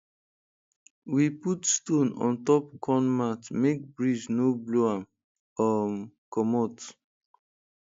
we put stone on top corn mat make breeze no blow am um comot